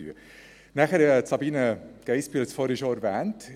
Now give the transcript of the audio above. Dann hat Sabina Geissbühler schon die PISA-Studie erwähnt.